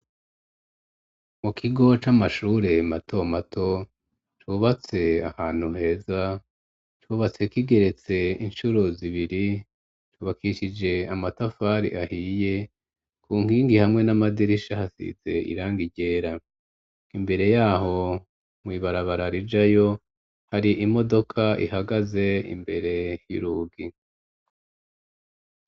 Mu kigo c'amashure mato mato, cubatse ahantu heza, cubatse kigeretse incuro zibiri cubakishije amatafari ahiye, ku nkingi hamwe n'amadirisha hasize irangi ryera, imbere y'aho mw'ibarabara rijayo, hari imodoka ihagaze imbere y'urugi.